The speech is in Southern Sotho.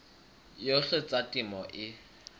yohle ya tsa temo e